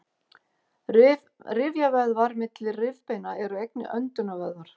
rifjavöðvar milli rifbeina eru einnig öndunarvöðvar